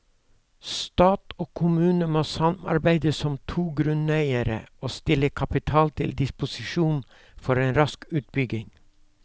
Stat og kommune må samarbeide som to grunneiere og stille kapital til disposisjon for en rask utbygging.